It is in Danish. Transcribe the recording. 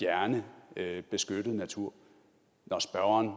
at beskyttet natur når spørgeren